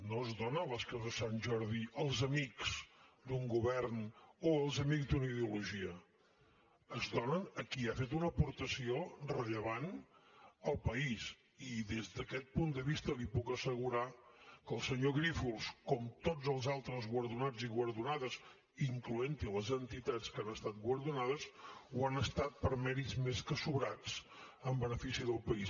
no es donen les creus de sant jordi als amics d’un govern o als amics d’una ideologia es donen a qui ha fet una aportació rellevant al país i des d’aquest punt de vista li puc assegurar que el senyor grífols com tots els altres guardonats i guardonades incloent hi les entitats que han estat guardonades ho han estat per mèrits més que sobrats en benefici del país